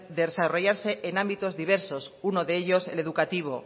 desarrollarse en ámbitos diversos uno de ellos el educativo